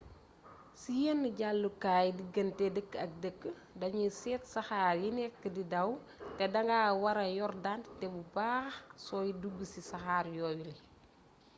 ci yen jàllukaay diggante dëkk ak dëkk danuy set saxaa yi nekk di daw te da nga wara yor dentite bu baax sooy dug ci saxaar yooyule